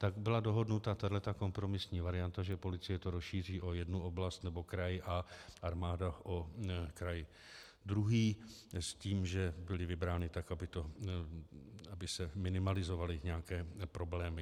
Tak byla dohodnuta tato kompromisní varianta, že policie to rozšíří o jednu oblast nebo kraj a armáda o kraj druhý, s tím, že byly vybrány tak, aby se minimalizovaly nějaké problémy.